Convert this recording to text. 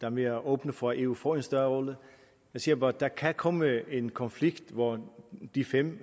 er mere åbne for at eu får en større rolle jeg siger bare at der kan komme en konflikt hvor de fem